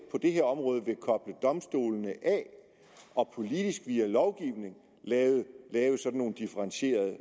det her område vil koble domstolene af og politisk via lovgivning lave sådan nogle differentierede